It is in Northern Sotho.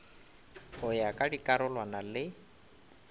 go ya ka dikarolwana le